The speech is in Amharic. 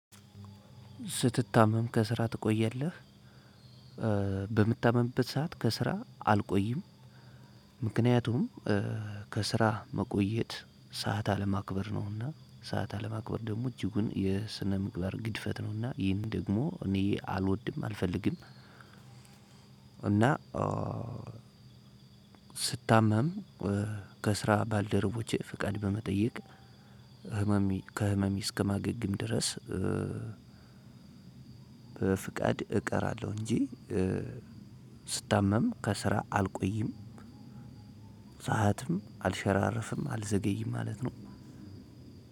ስትታመም ከስራ ትቆያለህ? በምታመምበት ሰዓት ከስራ አልቆይም። ምክንያቱም ከስራ መቆየት ሰዓት አለማክበር ነውና ሰዓት አለማክበር ደግሞ እጅጉን የስነ ምግባር ግድፈት ነውና ይህን ደግሞ እኔ አልወድም አልፈልግም። እና ስታመም ከስራ ባልደረቦቼ ፍቃድ በመጠየቅ ህመሜ ከህመሜ እስከማገግም ድረስ። በፍቃድ እቀራለሁ እንጂ ስታመም ከስራ አልቆይም። ሰዓትም አልሸራረጅርፍም አልዘገይም ማለት ነው።